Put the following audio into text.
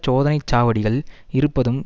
சோதனை சாவடிகள் இருப்பதும்